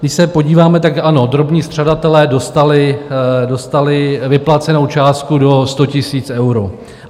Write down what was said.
Když se podíváme, tak ano, drobní střadatelé dostali vyplacenou částku do 100 000 euro.